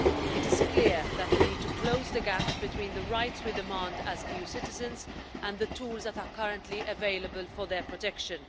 It is clear that we need to close the gaps between the rights we demand as EU citizens and the tools that are currently available for their protection.